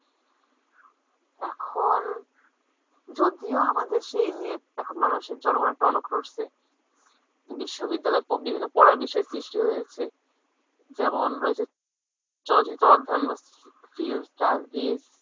এখন যদিও আমাদের দেশে এই নিয়ে মানুষের জনগনের টনক নড়ছে বিশ্ববিদ্যালয়ে বিভিন্ন পড়ার বিষয় সৃষ্টি হয়েছে যেমন রয়েছে চলচিত্র অধ্যয়ন বা film studies।